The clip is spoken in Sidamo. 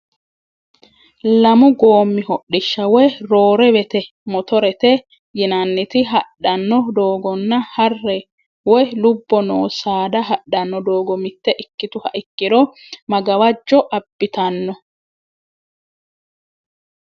Lamu goommi hodhishsha woy roorewete motorete yinannit hadhanno doogonna harre woy lubbo noo saada hadhano doogo mitte ikkituha ikkiro ma gawajo abbitanno?